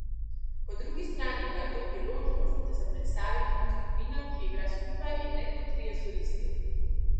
Po drugi strani pa je to priložnost, da se predstavimo kot skupina, ki igra skupaj, in ne kot trije solisti.